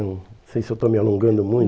Não sei se eu estou me alongando muito.